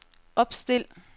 opstil